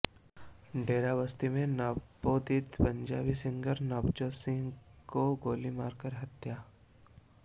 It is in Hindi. डेराबस्सी में नवोदित पंजाबी सिंगर नवजोत सिंह की गोली मारकर हत्या